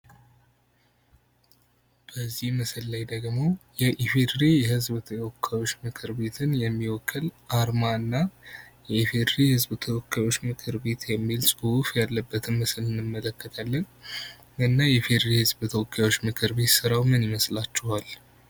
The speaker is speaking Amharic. በዚህ ምስል ላይ ደግሞ የኢፌዴሪ የህዝብ ተወካዮች ምክር ቤት የሚወክል አርማ እና የኢፌዴሪ የህዝብ ተወካዮች ምክር ቤት የሚል ፅሁፍ እያለበትን ምስል እንመለከታለን። እና የኢፌዴሪ የህዝብ ተወካዮች ምክር ቤት ስራው ምን ይመስላችኋል?